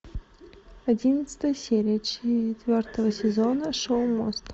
одиннадцатая серия четвертого сезона шоу мост